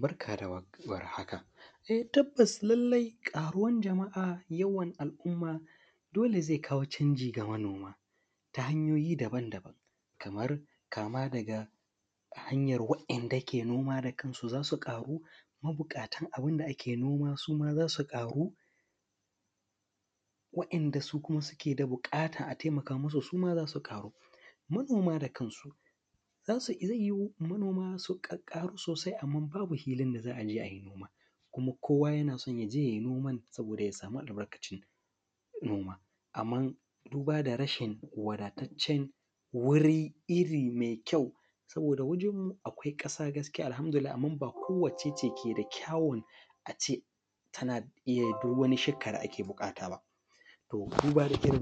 Barka da warhaka e tabbas lallai yawan al’umma dole zai kawo canji ga Manama ta hanyoyi Kaman, kama daga hanyar wa ‘yan’ da ke noma zasu ƙaru mabuƙatan abunda ake noma suma zasu ƙaru wa ‘yan’dasukuma suke da buƙata a taimaka musu suma zasu ƙaru. Manoma da kansu zai yuwu noma su ƙƙƙaru sosai amma babu hilin da za’aje ayi noma, kuma kowa yason yaje yayi noma ne saboda yasamu albarkacin noma. Amma buda da rashin wadataccen wurin irri mai kyau, saboda wajenmu akwai ƙasa Alhamdulillahi amma bako wacce take da kyawun ace tana iyyayin duk wani shika da ake buƙata ba. To duba nike ace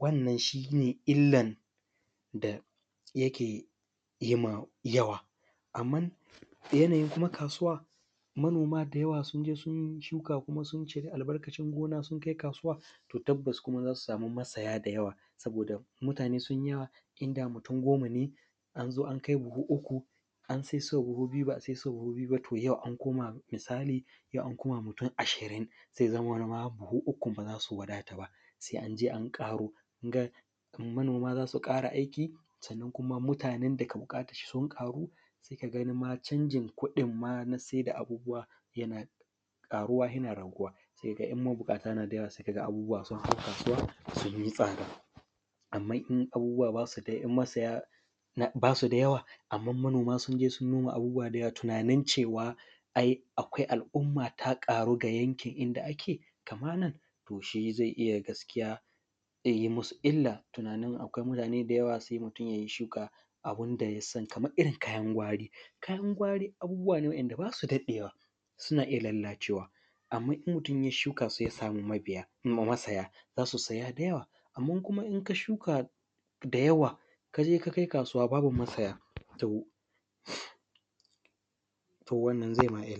wannan shine illan da yake yima yawa. Amman yanayin kasuwa, manoma da yawa synje sun shuka kuma suncira albarkan noma, sun kai kasuwa to tabbas kuma zasu masaya da yawa. Mutane sunyawa inda mutun goma ne anzo ankai buhu uku an saisuwa buhu ba’a saisuwa buhu ba to yau ankoma mutun ashirin zai zamana ma buhu biyun bazasu wadata ba, sai anje an ƙaro. Manoma zasu ƙara aiki sannan kuma mutane dake da buƙatanshi sun ƙaru saika ganima canjin kuɗin ma nasai da bubuwa yana ƙaruwa yana raguwa. Saidai in mabuƙata nada yawa sai kaga sun haɗu a kasuwa sunyi tsada, amma in abubuwa basu, in masaya da yawa amma manoma sunje sun noma abubuwa dayawa tunanin cewa ai kwa alumma ta ƙaru ga yankin inda akamana toshi zai iyya gaskiya zai yi illa tunanin akwai mutane da yawa zai yai shuka abunda yasan Kaman ittin kayan, kayan gwari abubuwa ne wa ‘yan’ da basu daɗewa suna iyya lallacewa amma I mutun ya shuka su ya samu masaya zasu saya da yawa. Amma kuma inka shuka su kaje kakai kasuwa babu masaya to wannan zaima ma.